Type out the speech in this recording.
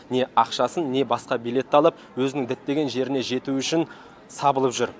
не ақшасын не басқа билет алып өзінің діттеген жеріне жету үшін сабылып жүр